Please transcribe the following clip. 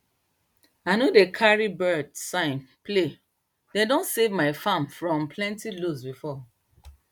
i no dey carry birds signs playdem don save my fram from plenty lose before